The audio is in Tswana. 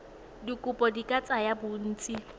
dikopo di ka tsaya bontsi